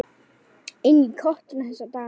Einn í kotinu þessa dagana.